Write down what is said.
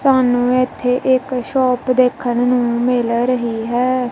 ਸਾਨੂੰ ਇੱਥੇ ਇੱਕ ਸ਼ੌਪ ਦੇਖਣ ਨੂੰ ਮਿਲ ਰਹੀ ਹੈ।